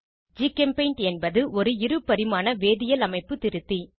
ஜிகெம்பெய்ண்ட் என்பது ஒரு இரு பரிமாண வேதியியல் அமைப்பு திருத்தி